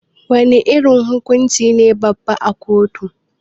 Wana irin hukunci ne babba a kotu?